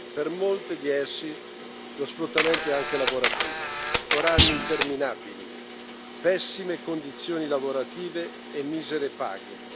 Per molte di esse lo sfruttamento è anche lavorativo orari interminabili, pessime condizioni lavorative e misere paghe.